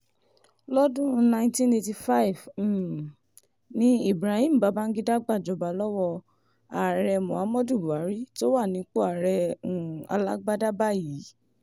lọ́dún 1985 um ni ibrahim babangida gbàjọba lọ́wọ́ ààrẹ muhammed buhari tó wà nípò ààrẹ um alágbala báyìí